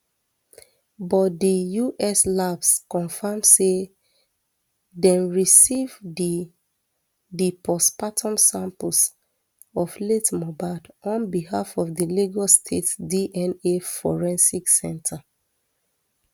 but di us labs confam say dem receive di di postmortem samples of late mohbad on behalf of di lagos state dna forensic center